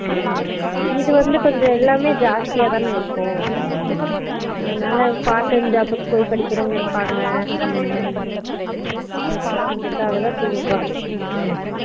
Noise இது வந்து கொஞ்சோ எல்லாமே ஜஷ்தியதான இருக்கும் அதனால part time job க்கு போய் படிக்கறவாங்க இருப்பாங்க அதுக்காகதா சொல்லுறாங்க